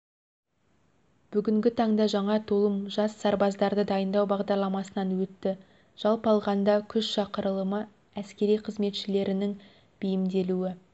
бүгінгі таңда жаңа толым жас сарбаздарды дайындау бағдарламасынан өтті жалпы алғанда күз шақырылымы әскери қызметшілерінің бейімделуі